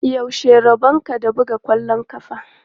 Yaushe rabonka da buga ƙwallon ƙafa?